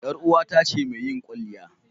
Yar uwata ce mai yin kwalliya.